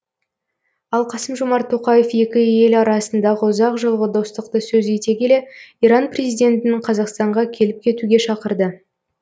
ал қасым жомарт тоқаев екі ел арасындағы ұзақ жылғы достықты сөз ете келе иран президентін қазақстанға келіп кетуге шақырды